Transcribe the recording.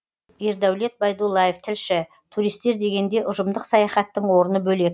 ердәулет байдуллаев тілші туристер дегенде ұжымдық саяхаттың орны бөлек